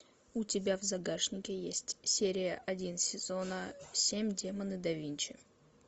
у тебя в загашнике есть серия один сезона семь демоны да винчи